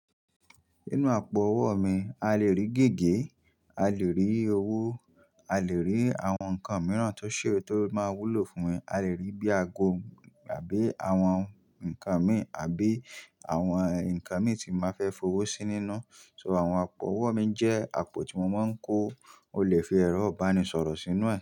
Nínú àpò owó mi, a lè rí gègé, a lè rí owó, a lè rí àwọn nǹkan mìíràn tó ṣe é tó máa wúlò fún mi. A lè rí bíi ago àbí àwọn nǹkan mi àbí àwọn nǹkan mi tí máa fẹ́ fi owó sí nínú. So àwọn àpò owó mi jẹ́ àpò tí mo máa ń kó. O lè fi ẹrọ ìbánisọ̀rọ̀ sínú rẹ̀.